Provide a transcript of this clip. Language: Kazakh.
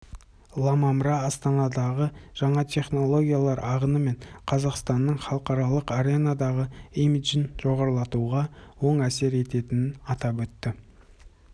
ламамра астанадағы жаңа технологиялар ағыны мен қазақстанның халықаралық аренадағы имиджін жоғарылатуға оң әсер ететінін атап өтті